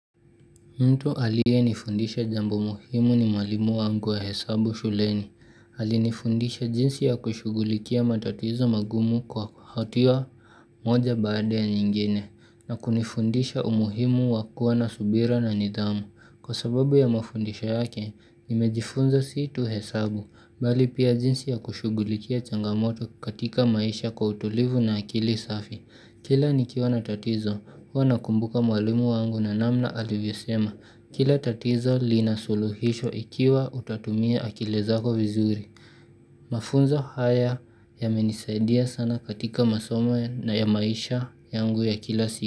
Mtu aliye nifundisha jambo muhimu ni mwalimu wangu wa hesabu shuleni. Alinifundisha jinsi ya kushugulikia matatizo magumu kwa hatia moja baada ya nyingine. Na kunifundisha umuhimu wakua na subira na nidhamu. Kwa sababu ya mafundisho yake, nimejifunza situ hesabu. Bali pia jinsi ya kushugulikia changamoto katika maisha kwa utulivu na akili safi. Kila nikiwa na tatizo huwa nakumbuka mwalimu wangu na namna alivyo sema Kila tatizo lina suluhisho ikiwa utatumia akili zako vizuri Mafunzo haya ya menisaidia sana katika masomo na ya maisha yangu ya kila siku.